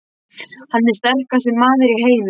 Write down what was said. Hann er sterkasti maður í heimi!